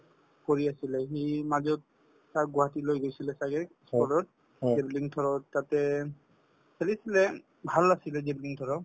কৰি আছিলে সি মাজত তাক গুৱাহাটী লৈ গৈছিলে ছাগে javelin throw তত তাতে খেলিছিলে ভাল আছিলে javelin throw